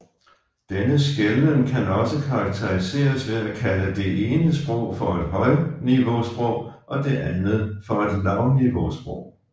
Denne skelnen kan også karakteriseres ved at kalde det ene sprog for et højniveausprog og det andet for et lavniveausprog